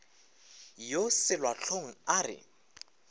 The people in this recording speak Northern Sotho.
yo selwa hlong a re